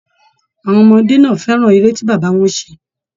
Àwọn ọmọdé náà fẹràn ère tí bàbá wọn ṣe.